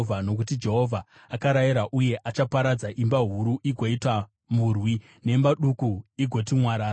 Nokuti Jehovha akarayira, uye achaparadza imba huru igoita murwi, nemba duku igoti mwarara.